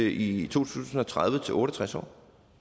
i to tusind og tredive til otte og tres år